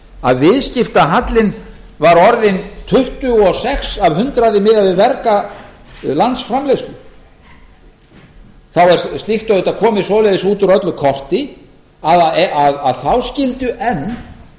að viðskiptahallinn var orðinn tuttugu og sex af hundraði miðað við verga landsframleiðslu þá er slíkt auðvitað komið svoleiðis út úr öllu korti að þá skyldu enn